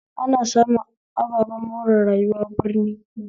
Ana samun ababen more rayuwa birni